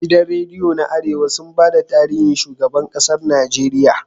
Gidan rediyo na arewa sun bada tarihin shigaban ƙasar nageria